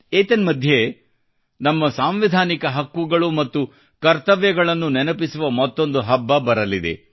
ಏತನ್ಮಧ್ಯೆ ನಮ್ಮ ಸಾಂವಿಧಾನಿಕ ಹಕ್ಕುಗಳು ಮತ್ತು ಕರ್ತವ್ಯಗಳನ್ನು ನೆನಪಿಸುವ ಮತ್ತೊಂದು ಹಬ್ಬ ಬರಲಿದೆ